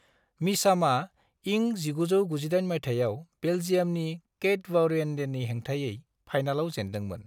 मिचामा इं 1998 माइथायाव बेल्जियामनि कैटबावरिएन्डेननि हेंथायै फाइनालाव जेनदोंमोन।